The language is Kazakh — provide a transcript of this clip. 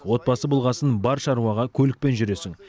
отбасы болғасын бар шаруаға көлікпен жүресің